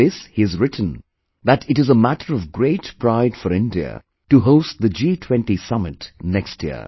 In this he has written that it is a matter of great pride for India to host the G20 summit next year